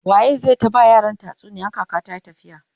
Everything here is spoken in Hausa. waye zai ta ba yaran tatsuniya in kaka tayi tafiya?